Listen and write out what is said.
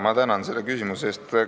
Ma tänan selle küsimuse eest!